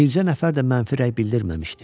Bircə nəfər də mənfi rəy bildirməmişdi.